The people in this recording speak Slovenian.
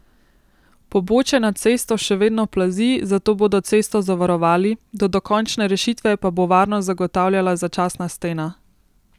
Pobočje nad cesto še vedno plazi, zato bodo cesto zavarovali, do dokončne rešitve pa bo varnost zagotavljala začasna stena.